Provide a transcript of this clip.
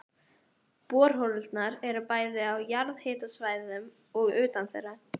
Borholurnar eru bæði á jarðhitasvæðum og utan þeirra.